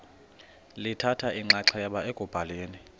lithatha inxaxheba ekubhaleni